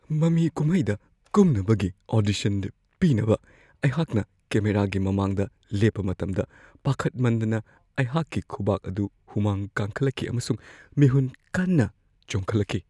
ꯃꯃꯤ- ꯀꯨꯝꯍꯩꯗ ꯀꯨꯝꯅꯕꯒꯤ ꯑꯣꯗꯤꯁꯟ ꯄꯤꯅꯕ ꯑꯩꯍꯥꯛꯅ ꯀꯦꯃꯦꯔꯥꯒꯤ ꯃꯃꯥꯡꯗ ꯂꯦꯞꯄ ꯃꯇꯝꯗ ꯄꯥꯈꯠꯃꯟꯗꯅ ꯑꯩꯍꯥꯛꯀꯤ ꯈꯨꯕꯥꯛ ꯑꯗꯨ ꯍꯨꯃꯥꯡ ꯀꯥꯡꯈꯠꯂꯛꯈꯤ ꯑꯃꯁꯨꯡ ꯃꯤꯍꯨꯟ ꯀꯟꯅ ꯆꯣꯡꯈꯠꯂꯛꯈꯤ ꯫